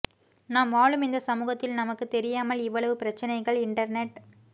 நாம் வாழும் இந்த சமூகத்தில் நமக்கு தெரியாமல் இவ்வளவு பிரச்சனைகள் இன்டர்நெட்